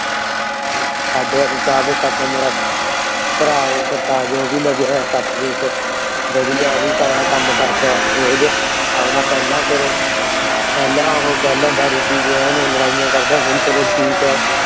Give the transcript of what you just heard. ਸਾਡੇ ਇੱਥੇ ਮੇਰਾ ਭਰਾ ਏ ਸਰਤਾਜ ਉਹ ਵੀ ਲੱਗਾ ਏ ਚ। ਵਧੀਆ ਉਹ ਵੀ ਹੁਣ ਕੰਮ ਕਰਦਾ ਰੋਜ । ਆਪਣਾ ਪਹਿਲਾ ਕੁਛ ਪਹਿਲਾ ਉਹ ਪਹਿਲਾ ਦਾਰੂ ਪੀਕੇ ਲੜਾਈਆਂ ਕਰਦਾ ਹੁਣ ਚਲੋ ਠੀਕ ਏ।